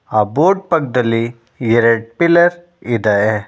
ಆ ಬೋರ್ಡ್ ಪಕ್ಕದಲ್ಲಿ ಎರಡು ಪಿಲ್ಲರ್ ಇದೆ.